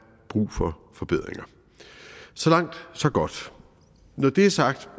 brug for forbedringer så langt så godt når det er sagt